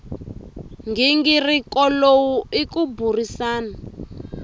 nghingiriko lowu i ku burisana